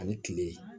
Ani kile